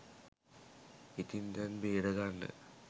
ඉතින් දැන් බේරගන්න